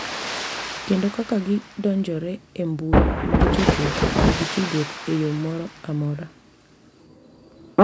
Kendo kaka gidonjore e mbui mag tudruok nigi tudruok e yo moro amora.